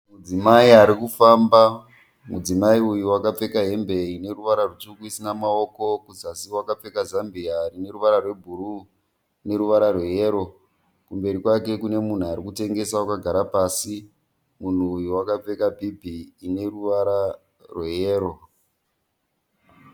Mudzimai ari kufamba. Mudzimai uyu wakapfeka hembe ine ruvara rutsvuku isina maoko. Kuzasi wakapfeka zambia rine ruvara rwebhuruu neruvara rweyero. Kumberi kwake kune munhu ari kutengesa akagara pasi. Munhu uyu wakapfeka bhibhi ine ruvara rweyero.